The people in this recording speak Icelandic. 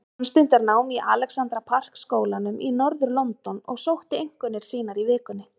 Hann stundar nám í Alexandra Park skólanum í norður-London og sótti einkunnir sínar í vikunni.